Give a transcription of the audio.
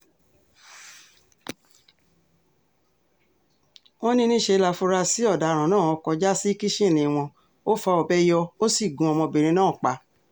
wọ́n ní níṣẹ́ láfúrásì ọ̀daràn náà kọjá sí kìkínní wọn ò fa ọbẹ̀ yọ ó sì gun ọmọbìnrin náà pa